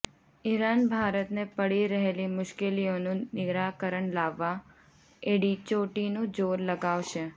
Iran ભારતને પડી રહેલી મુશ્કેલીઓનું નિરાકરણ લાવવા એડિચોટીનું જોર લગાવશે